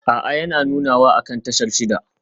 A'a yana nunawa akan tashar shida